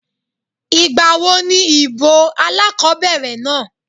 Ìgbà wo ní ìbò alákobẹ̀rẹ̀ náà?